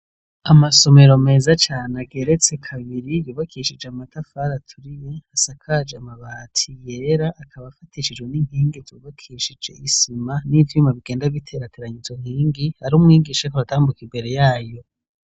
Amasomero meza cane ageretse kabiri yubakishije amatafari aturiye, asakaje amabati yera, akaba afatishijwe n'inkingi zubakishije isima n'ivyuma bigenda biterateranya izo nkingi, hari umwigisha ariko aratambuka imbere yayo.